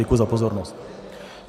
Děkuji za pozornost.